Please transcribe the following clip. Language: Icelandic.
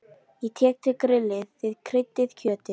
Ég tek til grillið, þið kryddið kjötið